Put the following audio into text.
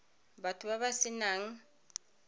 batho ba ba se nang